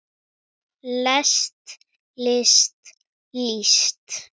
lest list líst